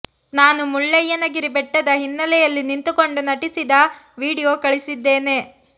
ನಾನು ಮುಳ್ಳಯ್ಯನ ಗಿರಿ ಬೆಟ್ಟದ ಹಿನ್ನೆಲೆಯಲ್ಲಿ ನಿಂತುಕೊಂಡು ನಟಿಸಿದ ವಿಡಿಯೋ ಕಳಿಸಿದ್ದೆ